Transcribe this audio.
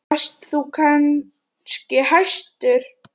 Varst þú kannski hæstur?